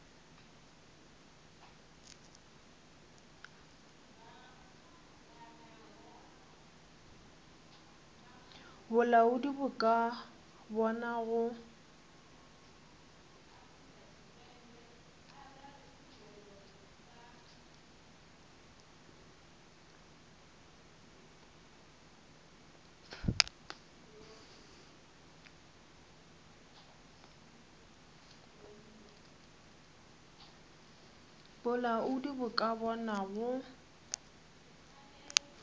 bolaodi bo ka bona go